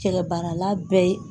Cɛkɛ baarala bɛɛ ye